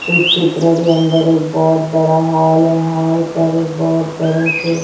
इस चित्र के अंदर एक बहोत बड़ा हॉल है हॉल पर एक बहोत बड़े से--